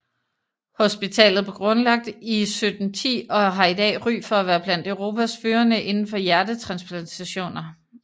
Hospitalet blev grundlagt i 1710 og har i dag ry for at være blandt Europas førende inden for hjertetransplantationer